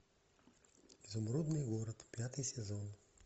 изумрудный город пятый сезон